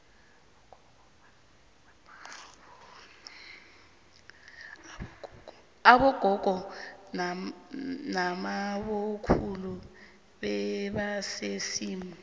abogogo namabokhulu bebanesimu